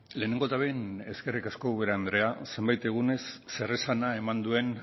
lehenengo eta behin eskerrik asko ubera andrea zenbait egunez zeresana eman duen